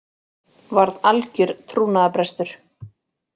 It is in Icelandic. Varð algjör trúnaðarbrestur